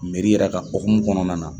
yɛrɛ ka hokumu kɔnɔna na